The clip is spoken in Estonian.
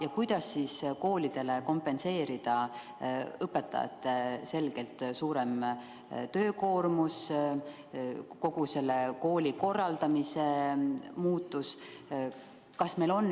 Ja kuidas koolidele kompenseerida õpetajate selgelt suurem töökoormus, kogu see koolikorralduse muutus?